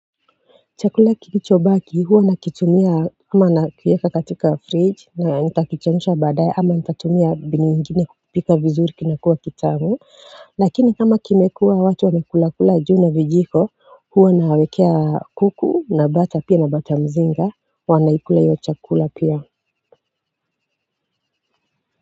Chakula kilichobaki huwa nakitumia ama nakieka katika fridge na nitakichemsha baada ye ama nitatumia mbinu ingine kupika vizuri kinakua kitamu lakini kama kimekua watu wamekulakula juu na vijiko huwa nawekea kuku na bata pia na bata mzinga wanaikula hiyo chakula pia.